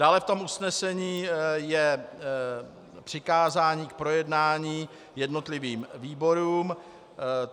Dále v tom usnesení je přikázání k projednání jednotlivým výborům.